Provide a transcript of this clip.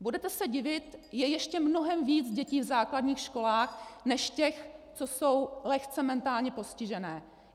Budete se divit, je ještě mnohem víc dětí v základních školách než těch, co jsou lehce mentálně postižené.